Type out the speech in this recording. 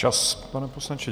Čas, pane poslanče.